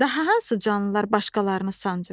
Daha hansı canlılar başqalarını sancır?